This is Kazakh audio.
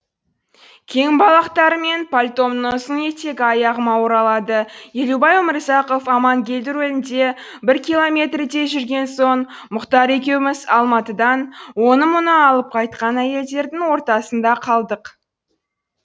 кең балақтарым мен пальтомның ұзын етегі аяғыма оралады елубай өмірзақов амангелді рөлінде бір километрдей жүрген соң мұхтар екеуміз алматыдан оны мұны алып кайтқан әйелдердің ортасында қалдық